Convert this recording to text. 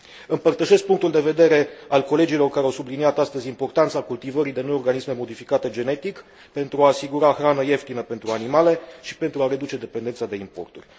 Împărtășesc punctul de vedere al colegilor care au subliniat astăzi importanța cultivării de noi organisme modificate genetic, pentru a asigura hrană ieftină pentru animale și pentru a reduce dependența de importuri.